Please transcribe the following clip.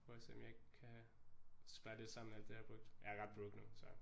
Prøve og se om jeg ikke kan spare lidt sammen med alt det jeg har brugt jeg er ret broke nu så